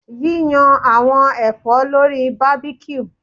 Yiyan awọn ẹfọ lori barbecue